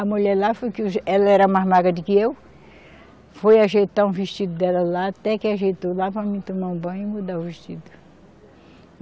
A mulher lá, foi que o ela era mais magra do que eu, foi ajeitar um vestido dela lá, até que ajeitou lá para mim tomar um banho e mudar o vestido.